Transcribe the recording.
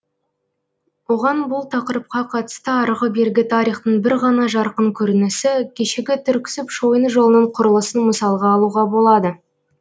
оған бұл тақырыпқа қатысты арғы бергі тарихтың бір ғана жарқын көрінісі кешегі түрксіб шойын жолының құрылысын мысалға алуға болады